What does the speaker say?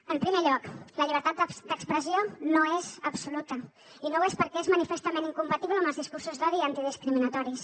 en primer lloc la llibertat d’expressió no és absoluta i no ho és perquè és manifestament incompatible amb els discursos d’odi i discriminatoris